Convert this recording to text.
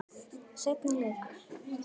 Seinni leikur